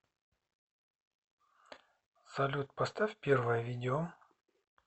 салют поставь первое видео